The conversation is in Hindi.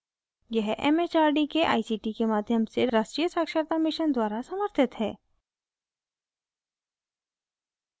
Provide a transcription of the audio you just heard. यह it it आर डी के आई सी टी के माध्यम से राष्ट्रीय साक्षरता mission द्वारा समर्थित हैं